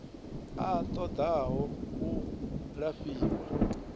a ṱo ḓaho u lafhiwa